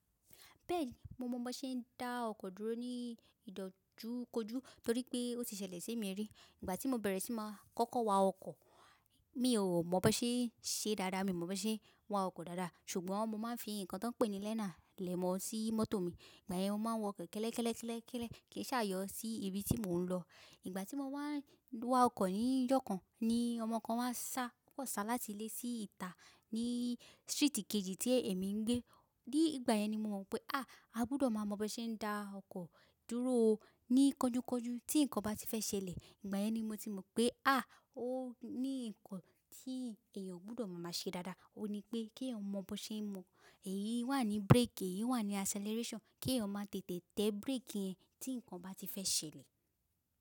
Bẹ́ẹ̀ni, mo mọ bó ṣe ń dá ọkọ̀ dúró ní ìdojúkojú torí pé ó ti ṣẹlẹ̀ sí mi rí. Ìgbà tí mo bẹ̀rẹ̀ sí máa kọ́kọ́ wa ọkọ̀, mi ò mọ bó ṣe ń ṣe dáadáa, mi mọ bó ṣe ń wa ọkọ̀ dáadáa. Ṣùgbọ́n mo máa ń fi ǹkan tó pé ni learner lẹ ẹ̀ mọ́ sí mọ́tò mi, ìgbà yẹn mo máa ń wa ọkọ̀ kẹ́lẹ́ kẹ́lẹ́ kẹ́lẹ́ kẹ́lẹ́ kín sa yọ sí ibi tí mò ń lọ. Ìgbà tí mo wá wa ọkọ̀ ní ijọ́ kan ni ọmọ kan wá sá, ó sá láti ilé sí ìta ní street kejì tí èmi ń gbé. Ní ìgbà yẹn ni mo mọ̀ pé, à, a gbọdọ̀ mọ bó ṣe ń dá ọkọ̀ dúró ní kọjúkọjú tí ǹkan bá ti fẹ́ ṣẹlẹ̀. Ìgbà yẹn ni mo ti mọ̀ pé, à, ó ní ǹkan tí èèyàn gbọdọ̀ máa ṣe dáadáa. Óun ní pé kí ẹ mọ bó ṣe ń mọ èyí wà ní brake, èyí wà ní acceleration, kí ẹ má tètè tẹ brake yẹn tí ǹkan bá ti fẹ́ ṣẹlẹ̀.